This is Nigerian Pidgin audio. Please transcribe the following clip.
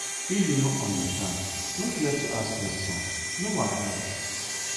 if you no understand no fear to ask questions no wahala